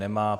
Nemá.